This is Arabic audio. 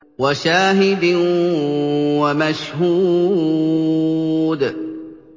وَشَاهِدٍ وَمَشْهُودٍ